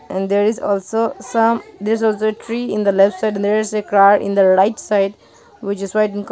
and there is also some this was the tree in the left side there is a car in the right side which is white in col--